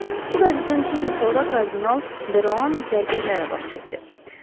Bu qəbzdən iki gün sonra kardinal de Roan zərgərlərə baş çəkdi.